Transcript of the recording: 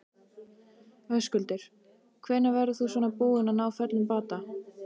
Höskuldur: Hvenær verður þú svona búinn að ná fullum bata?